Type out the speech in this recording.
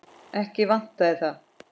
Ekki vantaði það.